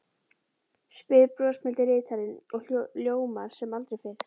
spyr brosmildi ritarinn og ljómar sem aldrei fyrr.